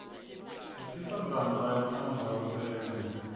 besifazana bayatsandza kutsenga